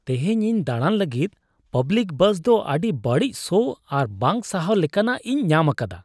ᱛᱤᱦᱤᱧ ᱤᱧ ᱫᱟᱲᱟᱱ ᱞᱟᱹᱜᱤᱫ ᱯᱟᱵᱽᱞᱤᱠ ᱵᱟᱥᱫᱚ ᱟᱹᱰᱤ ᱵᱟᱹᱲᱤᱡ ᱥᱚ ᱟᱨ ᱵᱟᱝ ᱥᱟᱦᱟᱣ ᱞᱮᱠᱟᱱᱟᱜ ᱤᱧ ᱧᱟᱢ ᱟᱠᱟᱫᱟ ᱾